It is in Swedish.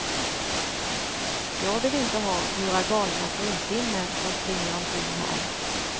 Jag vill inte ha några galna fruntimmer som springer omkring här.